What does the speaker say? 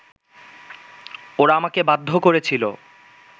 ওরা আমাকে বাধ্য করেছিলো